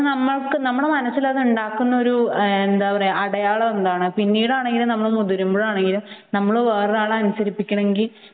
പക്ഷെ നമ്മക്ക് നമ്മുടെ മനസ്സിൽ അത് ഉണ്ടാക്കുന്ന ഒരു അടയാളം എന്താണ് പിന്നീടാണ് നമ്മൾ മുതിരുമ്പോഴാണ് നമ്മൾ വേറൊരാളെ അനുസരിപ്പിക്കണമെങ്കിൽ